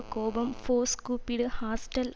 கோபம் ஃபோர்ஸ் கூப்பிடு ஹாஸ்டல்